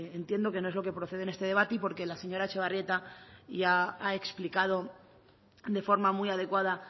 entiendo que no es lo que procede en este debate y porque la señora etxebarrieta ya ha explicado de forma muy adecuada